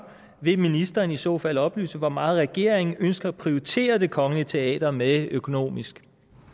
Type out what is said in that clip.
vil ministeren i så fald oplyse hvor meget regeringen ønsker at prioritere det kongelige teater med økonomisk